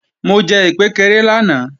Mo jẹ ìkpékeré lánàá